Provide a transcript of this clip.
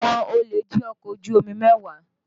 Àwọn olè jí ọkọ̀ ojú omi mẹ́wàá